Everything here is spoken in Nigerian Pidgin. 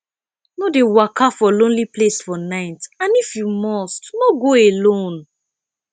no de waka for lonely place for night and if you must no go alone